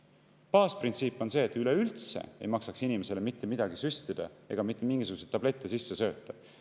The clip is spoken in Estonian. " Baasprintsiip on see, et üleüldse ei maksaks inimesele mitte midagi süstida ega mitte mingisuguseid tablette sisse sööta.